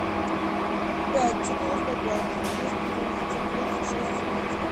пять четыреста пять двести двенадцать двадцать шесть семнадцать